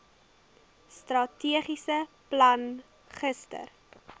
strategiese plan gister